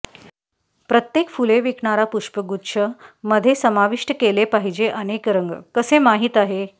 प्रत्येक फुले विकणारा पुष्पगुच्छ मध्ये समाविष्ट केले पाहिजे अनेक रंग कसे माहीत आहे